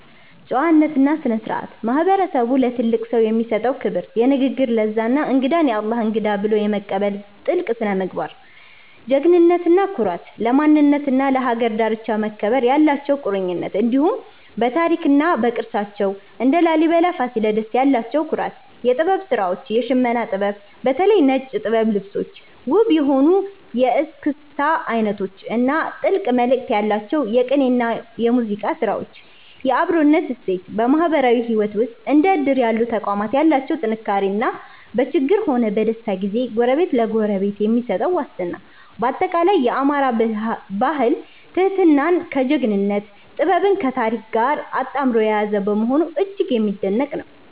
ጨዋነትና ስነ-ስርዓት፦ ማህበረሰቡ ለትልቅ ሰው የሚሰጠው ክብር፣ የንግግር ለዛ እና እንግዳን "የአላህ እንግዳ" ብሎ የመቀበል ጥልቅ ስነ-ምግባር። ጀግንነትና ኩራት፦ ለማንነትና ለሀገር ዳርቻ መከበር ያላቸው ቁርጠኝነት፣ እንዲሁም በታሪክና በቅርሳቸው (እንደ ላሊበላና ፋሲለደስ) ያላቸው ኩራት። የጥበብ ስራዎች፦ የሽመና ጥበብ (በተለይ ነጭ ጥበብ ልብሶች)፣ ውብ የሆኑት የእስክስታ አይነቶች እና ጥልቅ መልእክት ያላቸው የቅኔና የሙዚቃ ስራዎች። የአብሮነት እሴት፦ በማህበራዊ ህይወት ውስጥ እንደ እድር ያሉ ተቋማት ያላቸው ጥንካሬ እና በችግርም ሆነ በደስታ ጊዜ ጎረቤት ለጎረቤት የሚሰጠው ዋስትና። ባጠቃላይ፣ የአማራ ባህል ትህትናን ከጀግንነት፣ ጥበብን ከታሪክ ጋር አጣምሮ የያዘ በመሆኑ እጅግ የሚደነቅ ነው።